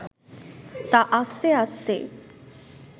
তা আস্তে আস্তে